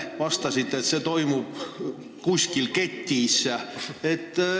Vastasite, et see toimub kuskil ketis.